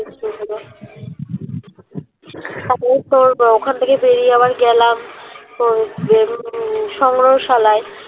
তারপরে তোর আহ ওখান থেকে বের হয়ে গেলাম তোর হম সংগ্রহশালায়